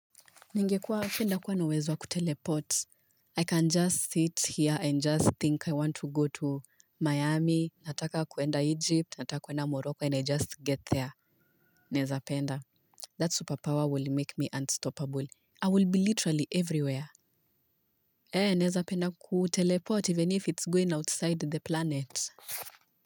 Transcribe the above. Ningekuwa afenda kuwa nawezwa kuteleport. I can just sit here and just think I want to go to Miami. Nataka kuenda Egypt nataka kuenda Morocco and i just get there nezapenda. That superpower will make me unstoppable. I will be literally everywhere. He, nezapenda kuteleport even if it's going outside the planet.